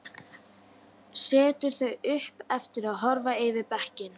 Setur þau upp aftur og horfir yfir bekkinn.